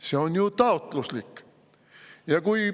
See on ju taotluslik.